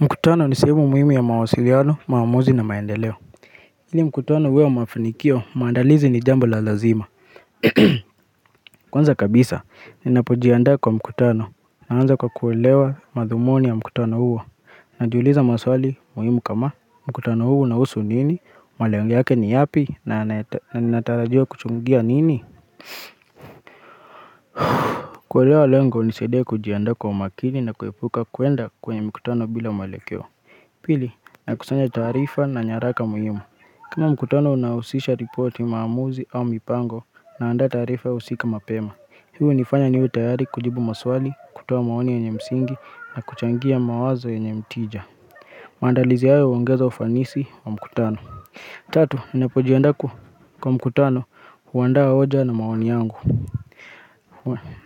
Mkutano ni sehemu muhimu ya mawasiliano, maamuzi na maendeleo ili mkutano uwe wa mafanikio maandalizi ni jambo la lazima Kwanza kabisa, ninapojiandaa kwa mkutano, naanza kwa kuelewa madhumuni ya mkutano huo Najiuliza maswali muhimu kama, mkutano huu unahusu nini, malengo yake ni yapi, na ninatarajiwa kuchungia nini kuelewa lengo hunisaidia kujiandaa kwa makini na kuepuka kuenda kwenye mkutano bila mwelekeo Pili, nakusanya taarifa na nyaraka muhimu kama mkutano unausisha ripoti maamuzi au mipango naanda taarifa husika mapema Hii unifanya niwe tayari kujibu maswali, kutoa maoni yenye msingi na kuchangia mawazo yenye mtija Mandalizi hayo uongeza ufanisi wa mkutano Tatu, ninapojiandaa kwa mkutano huandaa hoja na maoni yangu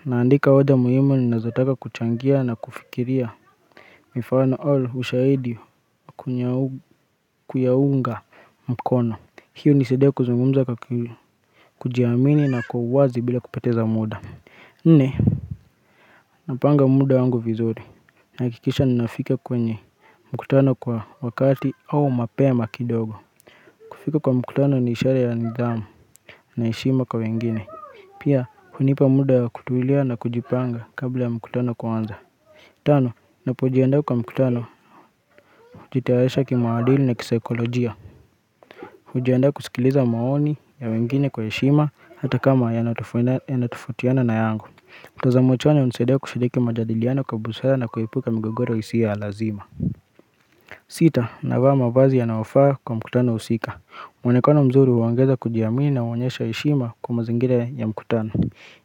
naandika hoja muhimu ninazotaka kuchangia na kufikiria Mifano au ushaidi kuyaunga mkono hiyo hunisaidia kuzungumza kwa kujiamini na kwa uwazi bila kupoteza muda Nne, napanga muda wangu vizuri Nahakikisha ninafika kwenye mkutano kwa wakati au mapema kidogo kufika kwa mkutano ni ishara ya nidhamu na heshima kwa wengine Pia, hunipa muda wa kutulia na kujipanga kabla ya mkutano kuanza Tano, napojiandaa kwa mkutano hujitayarisha kimaadili na kisaikolojia Ujianda kusikiliza maoni ya wengine kwa heshima hata kama yanatofautiana na yangu mtazamo chanya hunisaidia kushiriki majadiliano kwa busara na kuepuka migogoro isio ya lazima Sita, navaa mavazi yanaofaa kwa mkutano husika mwonekano mzuri huongeza kujiamini na huonyesha heshima kwa mazingira ya mkutano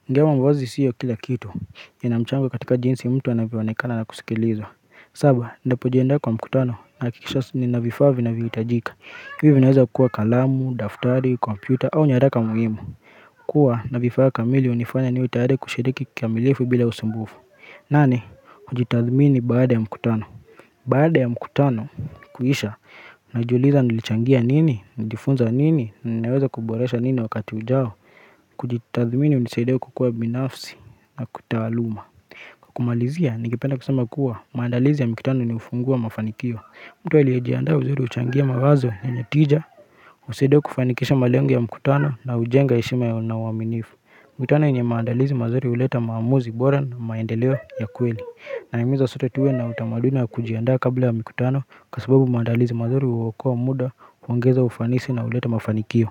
ingawa mavazi sio kila kitu inamchango katika jinsi mtu anavyoonekana na kusikilizwa saba, ndapojiandaa kwa mkutano nahakikisha nina vifaa vinavyohitajika Hivyo inaweza kuwa kalamu, daftari, kompyuta au nyaraka muhimu Kua na vifaa kamili hunifanya niwe tayari kushiriki kikamilifu bila usumbufu nane, kujitathmini baada ya mkutano Baada ya mkutano kuisha Najiuliza nilichangia nini, nimejifunza nini, ninaweza kuboresha nini wakati ujao Kujitathmini unisaidia kukua binafsi na kitaaluma kumalizia, ningependa kusema kuwa maandalizi ya mikutano inaufungua mafanikio mtu aliyejiandaa vizuri huchangia mawazo yenye tija, usaidia kufanikisha malengo ya mkutano na hujenga heshima na uwaminifu. Mkutano yenye maandalizi mazuri huleta maamuzi bora na maendeleo ya kweli. Naimiza sote tuwe na utamaduni ya kujiandaa kabla ya mkutano kwa sababu maandalizi mazuri huokoa muda, uongeza ufanisi na uleta mafanikio.